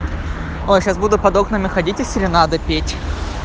ой сейчас буду под окнами ходить и серенады петь